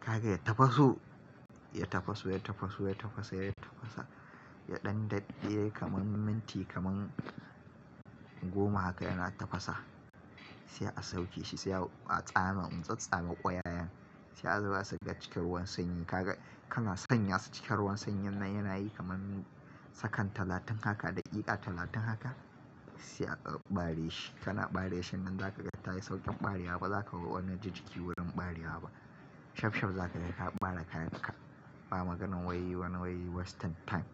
Kaga ya tafaso, ya tafaso, ya tafaso, ya tafaso, ya tafasa, ya ɗan daɗe kamar minti goma haka yana tafasa. Sai a sauke shi, sai a tsame, in tsatsame ƙwayayen, sai a zuba su ga cikin ruwan sanyi. Kaga kana sanya su cikin ruwan sanyin nan yana yi kamar sakan talatin haka daƙiƙa, talatin haka sai a ɓare shi. Kana ɓare shi man zaka ga ta yi sauƙin ɓarewa ba, zaka ga wani jinjiki wurin ɓarewa ba. Shafshaf zaka ga ka ɓare kayan ka. Ba maganan wai, wani wai wasting time.